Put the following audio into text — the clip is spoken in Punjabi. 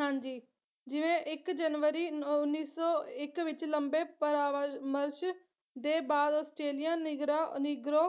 ਹਾਂਜੀ ਜਿਵੇਂ ਇੱਕ ਜਨਵਰੀ ਨੋ ਉੱਨੀ ਸੌ ਇੱਕ ਵਿੱਚ ਲੰਬੇ ਪਰਾਵਮਰਸ਼ ਦੇ ਬਾਅਦ ਆਸਟ੍ਰੇਲੀਆ ਨਿਗਰਾ ਨੀਗਰੋ